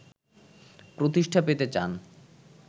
প্রতিষ্ঠা পেতে চান